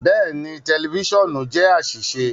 Bẹẹni, tẹlifisiọnu jẹ aṣiṣe